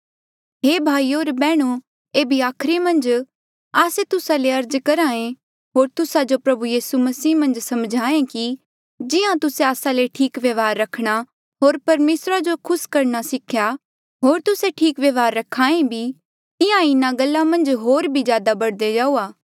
हे भाईयो होर बैहणो ऐबे आखरी आस्से तुस्सा ले अर्ज करहा ऐें होर तुस्सा जो प्रभु यीसू मन्झ सम्झाहें कि जिहां तुस्से आस्सा ले ठीक व्यवहार रखणा होर परमेसरा जो खुस करणा सिख्या होर तुस्से ठीक व्यवहार रख्हा ऐ भी तिहां ईं इन्हा गल्ला मन्झ होर बी ज्यादा बढ़दे जाऊआ